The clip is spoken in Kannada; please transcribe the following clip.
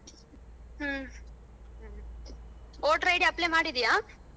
ಹ್ಮ voter ID apply ಮಾಡಿದೀಯಾ?